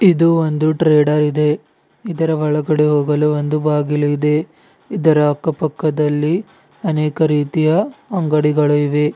ಇದು ಒಂದು ಟ್ರೇಡರ್ ಇದೆ ಇದರ ಒಳಗೆ ಹೋಗಲು ಒಂದು ಬಾಗಿಲು ಇದೆ ಇದರ ಅಕ್ಕಪಕ್ಕದಲ್ಲಿ ಅನೇಕ ರೀತಿಯ ಅಂಗಡಿಗಳು ಇವೆ.